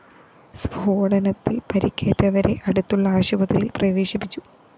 സ്‌ഫോടനത്തില്‍ പരിക്കേറ്റവരെ അടുത്തുള്ള ആശുപത്രിയില്‍ പ്രവേശിപ്പിച്ചു